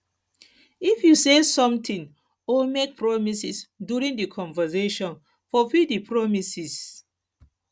if you say something or make promises during di conversation fulfill di promises